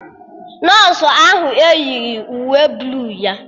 Nọsụ ahụ eyighi uwe bluu ya